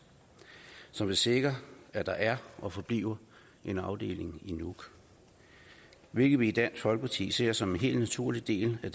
som vil sikre at der er og forbliver en afdeling i nuuk hvilket vi i dansk folkeparti ser som en helt naturlig del af